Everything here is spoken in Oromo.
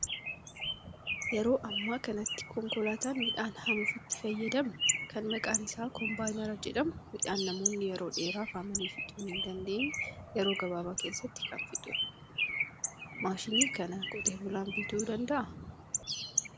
Yeroo ammaa kanatti konkolaataan midhaan haamuuf itti fayyadamnu kan maqaan isaa kombaayinara jedhamu midhaan namoonni yeroo dheeraaf haamanii fixuu hin dandeenye yeroo gabaabaa keessatti kan fixudha. Maashina kana qotee bulaan bituu danda'a?